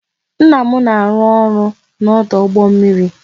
Nna m na arụ-ọrụ n'ọdụ ụgbọ mmiri